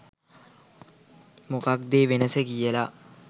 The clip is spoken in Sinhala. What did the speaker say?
මොකක්ද ඒ වෙනස කියලා